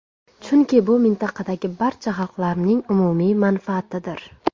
Chunki bu mintaqadagi barcha xalqlarning umumiy manfaatidir.